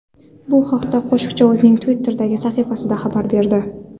Bu haqda qo‘shiqchi o‘zining Twitter’dagi sahifasida xabar berdi .